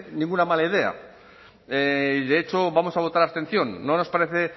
ninguna mala idea y de hecho vamos a votar abstención no nos parece